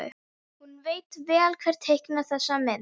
Hann veit vel hver teiknaði þessa mynd.